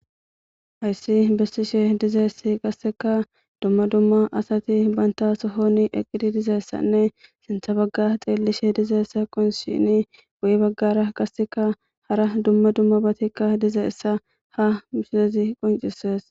hayssi bessishe dizeessi qasseka dumma dumma asati banta sohoni eqqidi dizeessanne sintha bagga xiellishe dizaessa qonshini guyi baggara qasseka hara dumma dumma batikka dizeessa ha misezi qoncisees